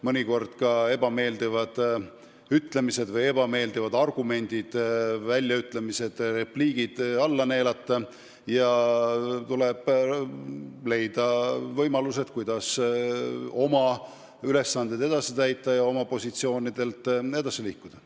Mõnikord tuleb ebameeldivad argumendid-väljaütlemised-repliigid alla neelata ja leida võimalused, kuidas oma ülesandeid edasi täita ja oma positsioonidelt edasi liikuda.